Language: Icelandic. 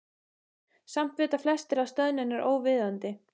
Samt vita flestir að stöðnun er óviðunandi.